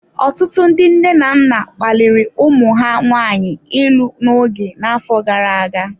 Ọtụtụ ndị nne na nna kpaliri ụmụ ha nwanyị ịlụ n'oge n'afọ gara aga.